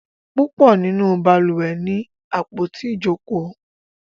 púpọ nínú balùwẹ̀ ní àpótí Ijoko.